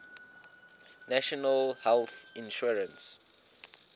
national health insurance